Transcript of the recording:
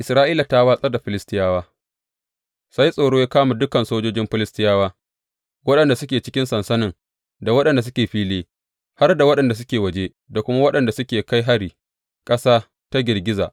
Isra’ila ta watsar da Filistiyawa Sai tsoro ya kama dukan sojojin Filistiyawa, waɗanda suke cikin sansanin da waɗanda suke fili, har da waɗanda suke waje, da kuma waɗanda suke kai hari, ƙasa ta girgiza.